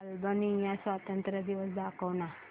Albania स्वातंत्र्य दिवस दाखव ना